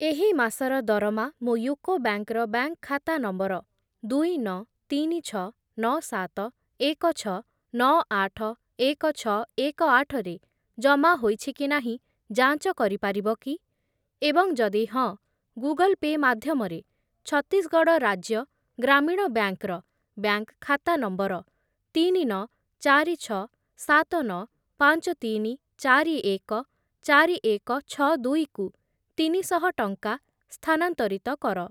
ଏହି ମାସର ଦରମା ମୋ ୟୁକୋ ବ୍ୟାଙ୍କ୍‌ ର ବ୍ୟାଙ୍କ୍‌‌ ଖାତା ନମ୍ବର ଦୁଇ, ନଅ, ତିନି, ଛଅ, ନଅ, ସାତ, ଏକ, ଛଅ, ନଅ, ଆଠ, ଏକ, ଛଅ, ଏକ, ଆଠ ରେ ଜମା ହୋଇଛି କି ନାହିଁ ଯାଞ୍ଚ କରିପାରିବ କି? ଏବଂ ଯଦି ହଁ, ଗୁଗଲ୍ ପେ' ମାଧ୍ୟମରେ ଛତିଶଗଡ଼ ରାଜ୍ୟ ଗ୍ରାମୀଣ ବ୍ୟାଙ୍କ୍‌ ର ବ୍ୟାଙ୍କ୍‌‌ ଖାତା ନମ୍ବର ତିନି, ନଅ, ଚାରି, ଛଅ, ସାତ, ନଅ, ପାଞ୍ଚ, ତିନି, ଚାରି, ଏକ, ଚାରି, ଏକ, ଛଅ, ଦୁଇ କୁ ତିନିଶହ ଟଙ୍କା ସ୍ଥାନାନ୍ତରିତ କର ।